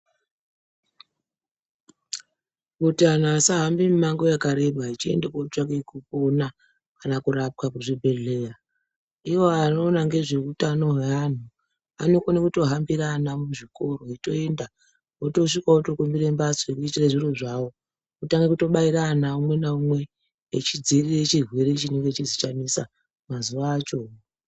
Kuti antu asahambe mimango yakaeba achiende kunotsvake kupona. Kana kurapwa kuzvibhedhlera ivo anoona ngezvehutano hweantu anokona kutohambira ana muzvikoro echitoenda. Votosvika votokumbire mbatya dzekuisire zviro zvavo otobaira ana umwe naumwe achidzirire chirwere chese chanesa mazuva acho.